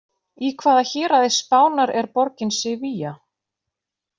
Í hvaða héraði Spánar er borgin Sevilla?